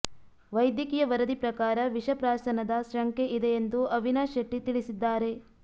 ವೈದ್ಯಕೀಯ ವರದಿ ಪ್ರಕಾರ ವಿಷಪ್ರಾಶನದ ಶಂಕೆ ಇದೆ ಎಂದು ಅವಿನಾಶ್ ಶೆಟ್ಟಿ ತಿಳಿಸಿದ್ದಾರೆ